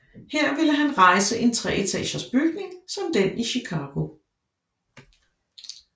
Her ville han rejse en treetages bygning som den i Chicago